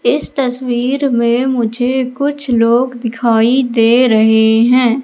इस तस्वीर में मुझे कुछ लोग दिखाई दे रहे हैं।